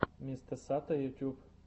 мистэсато ютуб